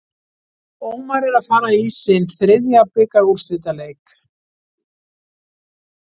Ómar er að fara í sinn þriðja bikarúrslitaleik.